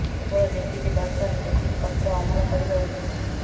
କେବଳ ଯେତିକି ଦରକାର ସେତିକି ପତ୍ର ଅମଳ କରିବା ଉଚିତ୍